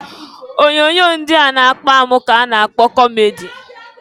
Onyoonyo ndị na-akpa amụ ka a na-kpọ kọmedi.